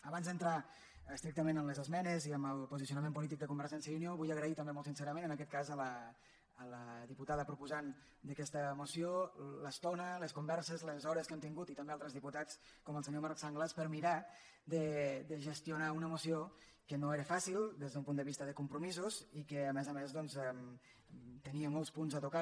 abans d’entrar estrictament en les esmenes i en el posicionament polític de convergència i unió vull agrair també molt sincerament en aquest cas a la diputada proposant d’aquesta moció l’estona les con·verses les hores que hem tingut i també a altres di·putats com el senyor marc sanglas per mirar de gestionar una moció que no era fàcil des d’un punt de vista de compromisos i que a més a més doncs tenia molts punts a tocar